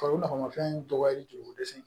Farikolo nakɔma fɛn dɔ dɔgɔyali joliko dɛsɛ ye